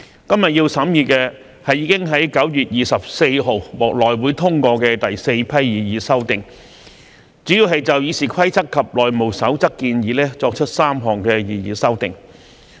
今天要審議的，是已在9月24日獲內務委員會通過的第四批擬議修訂，主要就《議事規則》及《內務守則》建議作出3項擬議修訂。